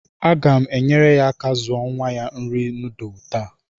Aga m enyere ya aka zuo nwa ya nri nudulu taa